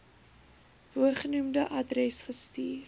bogenoemde adres gestuur